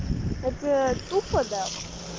это тупо да